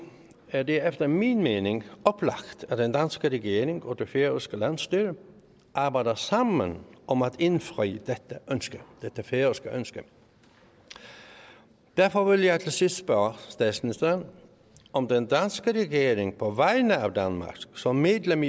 er det efter min mening oplagt at den danske regering og det færøske landsstyre arbejder sammen om at indfri dette færøske ønske derfor vil jeg til sidst spørge statsministeren om den danske regering på vegne af danmark som medlem